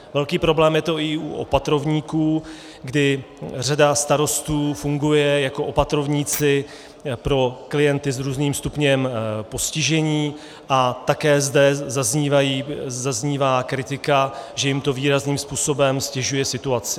Velký problém je to i u opatrovníků, kdy řada starostů funguje jako opatrovníci pro klienty s různým stupněm postižení, a také zde zaznívá kritika, že jim to výrazným způsobem ztěžuje situaci.